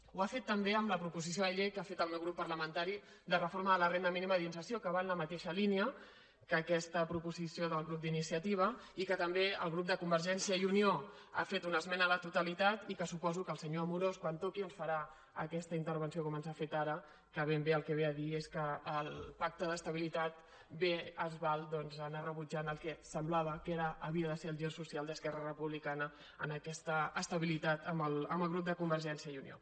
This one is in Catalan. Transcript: ho ha fet també amb la proposició de llei que ha fet el meu grup parlamentari de reforma de la renda mínima d’inserció que va en la mateixa línia que aquesta proposició del grup d’iniciativa i que també el grup de convergència i unió hi ha fet una esmena a la totalitat i que suposo que el senyor amorós quan toqui ens farà aquesta intervenció com ens ha fet ara que ben bé el que ve a dir és que el pacte d’estabilitat bé es val doncs d’anar rebutjant el que semblava que era havia de ser el gir social d’esquerra republicana en aquesta estabilitat amb el grup de convergència i unió